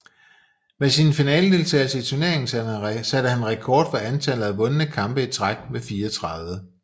Med sin finaledeltagelse i turneringen satte han rekord for antallet af vundne kampe i træk med 34